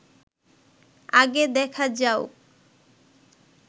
আগে দেখা যাউক